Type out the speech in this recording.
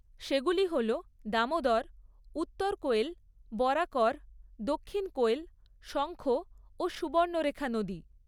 সেগুলি হল, দামোদর, উত্তর কোয়েল, বরাকর, দক্ষিণ কোয়েল, শঙ্খ ও সুবর্ণরেখা নদী।